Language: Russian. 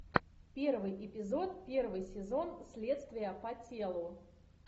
первый эпизод первый сезон следствие по телу